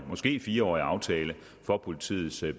måske fire årig aftale for politiets